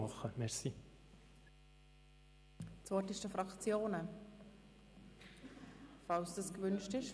Das Wort ist bei den Fraktionen, falls es gewünscht wird.